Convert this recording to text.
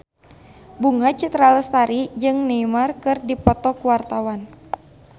Bunga Citra Lestari jeung Neymar keur dipoto ku wartawan